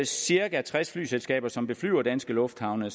cirka tres flyselskaber som beflyver danske lufthavne